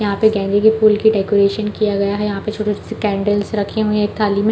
यहाँ पे गेंदे की फूल की डेकोरेशन किया गया है यहाँ पे छोटे-छोटे कैंडल्स रखी हुई है एक थाली में --